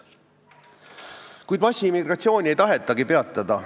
Kuid massiimmigratsiooni ei tahetagi peatada.